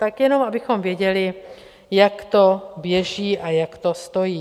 Tak jenom abychom věděli, jak to běží a jak to stojí.